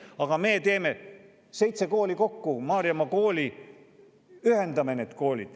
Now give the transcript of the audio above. Aga me seitse kooli kokku, ühendame need koolid, teeme Maarjamaa kooli.